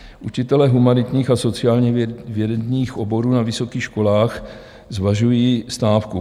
Učitelé humanitních a sociálních vědních oborů na vysokých školách zvažují stávku.